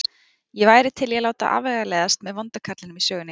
Ég væri að láta afvegaleiðast með vonda karlinum í sögunni.